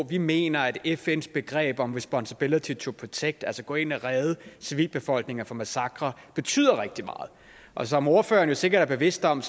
vi mener at fns begreb om responsibility to protect at gå ind og redde civilbefolkninger fra massakrer betyder rigtig meget og som ordføreren sikkert er bevidst om